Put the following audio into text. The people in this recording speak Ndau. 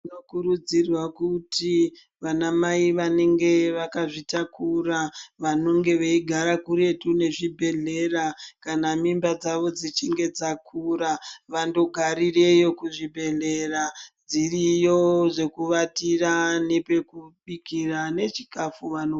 Tinokurudzirwa kuti vanamai vanenge vakazvitakura vanonge veigara kuretu nezvibhedhlera kana mimba dzavo dzichinge dzakura, vandogaroreyo kuzvibhedhlera. Dziriyo zvekuvatira nepekubika nechikafu vano...